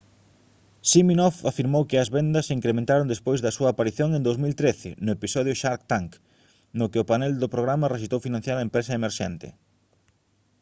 siminoff afirmou que as vendas se incrementaron despois da súa aparición en 2013 no episodio shark tank no que o panel do programa rexeitou financiar a empresa emerxente